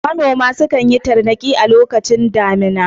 Manoma sukan yi tarnaki a lokacin damina.